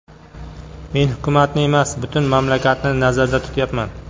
Men hukumatni emas, butun mamlakatni nazarda tutyapman.